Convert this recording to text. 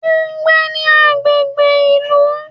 O n gbé ní agbègbè ìlú